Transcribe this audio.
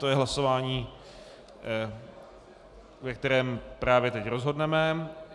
To je hlasování, ve kterém právě teď rozhodneme.